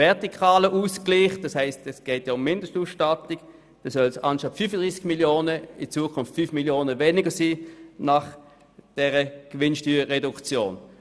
Im vertikalen Ausgleich, wo es um die Mindestausstattung geht, sollen es nach dieser Gewinnsteuerreduktion statt 35 Mio. Franken 5 Mio. Franken weniger sein.